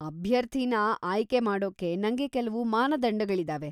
ಅಭ್ಯರ್ಥಿನ ಆಯ್ಕೆ ಮಾಡೋಕೆ ನಂಗೆ ಕೆಲ್ವು ಮಾನದಂಡಗಳಿದಾವೆ.